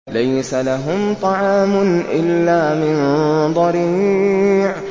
لَّيْسَ لَهُمْ طَعَامٌ إِلَّا مِن ضَرِيعٍ